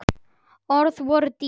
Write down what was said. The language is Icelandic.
Orð voru dýr.